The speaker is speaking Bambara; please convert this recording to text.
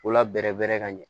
K'u la bɛrɛ bɛrɛ ka ɲɛ